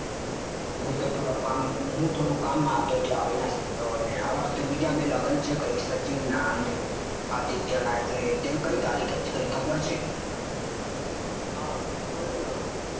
થોડા